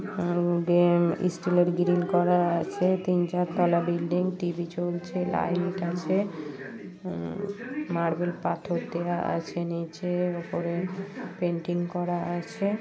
দিয়ে ষ্টিল -এর গ্রীল করা আছে তিন চার তলা বিল্ডিং টি.ভি চলছে লাইট আছে হম মার্বেল পাথর দেওয়া আছে নিচে উপরে পেন্টিং করা আছে।